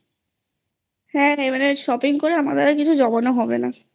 হ্যাঁ Shopping করে আমাদের আর কিছু জমানো হবে নাI